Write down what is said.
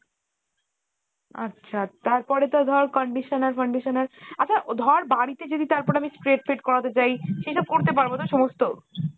আচ্ছা তারপরে তোর ধর conditioner ফন্ডিশনার আচ্ছা ধর বাড়িতে যদি তারপর আমি straight ফ্রেট করাতে চাই সেসব করতে পারবো তো সমস্ত?